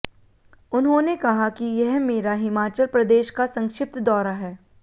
उन्होंने कहा कि यह मेरा हिमाचल प्रदेश का संक्षिप्त दौरा है